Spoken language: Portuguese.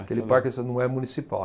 Aquele parque é esta, não é municipal.